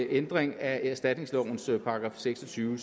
ændring af erstatningslovens § seks og tyve